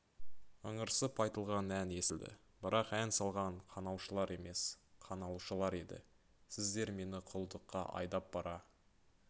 ыңырсып айтылған ән естілді бірақ ән салған қанаушылар емес қаналушылар еді сіздер мені құлдыққа айдап бара